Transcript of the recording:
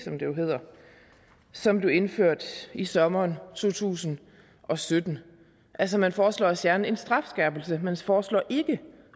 som det indført i sommeren to tusind og sytten altså man foreslår at fjerne en strafskærpelse man foreslår ikke